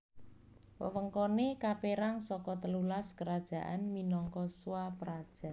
Wewengkoné kapérang saka telulas kerajaan minangka swapraja